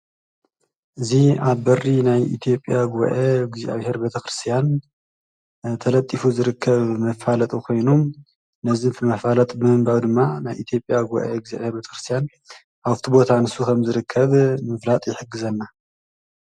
እዙ ኣ በሪ ናይ ኢቲጴያ ጐአ እግዚኣብሔር በተክርስያን ተለጢፉ ዝርከብ ምፋለጦ ኾይኑ ነዝምፊ መፋለጥ ምንባዊ ድማ ናይ ኢቲጴያ ጐኤ እግዚኣብሔር በተክርስያን ኣውቲቦታ ንሱ ኸም ዝርከብ ምፍራጥ የሕግዘና።